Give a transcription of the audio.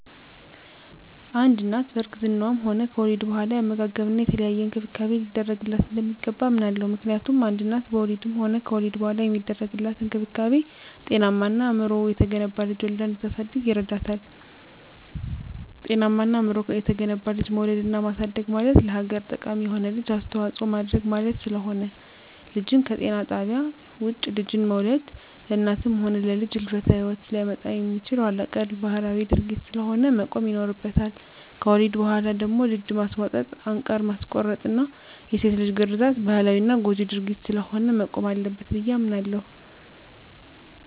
አንድ እናት በእርግዝናዋም ሆነ ከወሊድ በኋላ የአመጋገብና የተለያየ እንክብካቤ ሊደረግላት እንደሚገባ አምናለሁ። ምክንያቱም አንድ እናት በወሊድም ሆነ ከወሊድ በኋላ የሚደረግላት እንክብካቤ ጤናማና አእምሮው የተገነባ ልጅ ወልዳ እንድታሳድግ ይረዳታል። ጤናማና አእምሮው የተገነባ ልጅ መውለድና ማሳደግ ማለት ለሀገር ጠቃሚ የሆነ ልጅ አስተዋጽኦ ማድረግ ማለት ስለሆነ። ልጅን ከጤና ጣቢያ ውጭ ልጅን መውለድ ለእናትም ሆነ ለልጅ የህልፈተ ሂወት ሊያመጣ የሚችል ኋላቀር ባህላዊ ድርጊት ስለሆነ መቆም ይኖርበታል። ከወሊድ በኋላ ደግሞ ድድ ማስቧጠጥ፣ አንቃር ማስቆረጥና የሴት ልጅ ግርዛት ባህላዊና ጎጅ ድርጊት ስለሆነ መቆም አለበት ብየ አምናለሁ።